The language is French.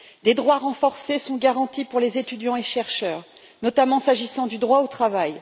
Des droits renforcés sont garantis pour les étudiants et chercheurs, notamment s'agissant du droit au travail.